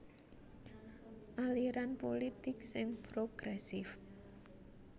Aliran pulitik sing progresif